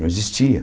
Não existia.